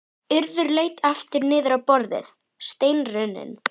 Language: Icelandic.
Urður leit aftur niður á borðið, steinrunnin.